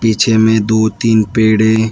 पीछे में दो तीन पेड़े है।